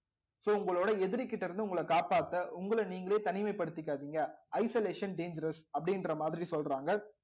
so உங்களோட எதிரி கிட்ட இருந்து உங்களை காப்பாத்த உங்களை நீங்களே தனிமைப்படுத்திக்காதீங்க isolation dangerous அப்படின்ற மாதிரி சொல்றாங்க